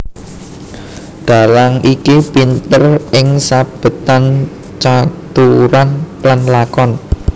Dhalang iki pinter ing sabetan caturan lan lakon